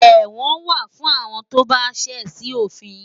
Ẹ̀wọ̀n wà fún àwọn tó bá ṣẹ̀ sí òfin